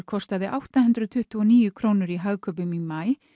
kostaði átta hundruð tuttugu og níu krónur í Hagkaupum í maí